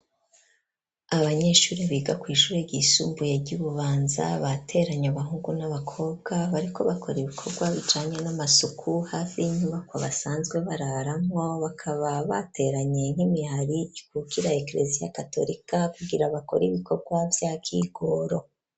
Abanyeshuri biga kw'ishure ryisumbuye ry'Ibubanza ,bateranye abahungu n'abakobwa bariko bakora ibikorwa bijanye n'amasuku hafi inyubako basanzwe bararamwo, bakaba bateranye nk'imihari ikukira ekreziya katorika kugira bakora ibikorwa vya kigoro.